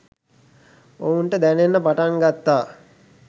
ඔවුන්ට දැනෙන්න පටන් ගත්තා